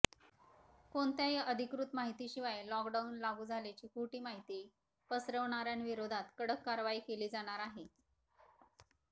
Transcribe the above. कोणत्याही अधिकृत माहितीशिवाय लॉकडॉऊन लागू झाल्याची खोटी माहिती पसरवणाऱ्यांविरोधात कडक कारवाई केली जाणार आहे